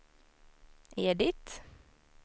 Edit